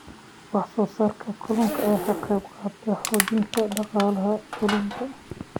Wax soo saarka kalluunka ayaa ka qayb qaata xoojinta dhaqaalaha tuulooyinka.